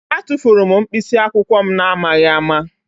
Atụfuru m mkpịsị akwụkwọ m n'amaghị ama